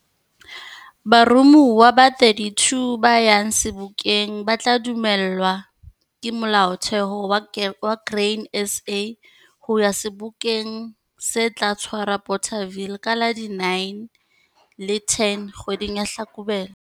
Baromuwa ba 32 ba yang Sebokeng ba tla dumellwa ke molaotheo wa Grain SA ho ya Sebokeng se tla tshwarwa Bothaville ka la 9 le la 10 kgweding ya Hlakubele.